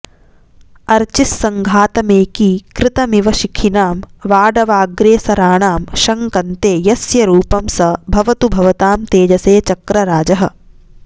अर्चिस्सङ्घातमेकीकृतमिव शिखिनां वाडवाग्रेसराणां शङ्कन्ते यस्य रूपं स भवतु भवतां तेजसे चक्रराजः